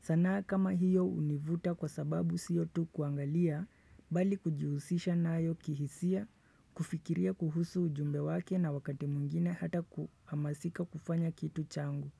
Sanaa kama hiyo hunivuta kwa sababu siyo tu kuangalia, bali kujihusisha nayo kihisia, kufikiria kuhusu ujumbe wake na wakati mwingine hata kuhamasika kufanya kitu changu.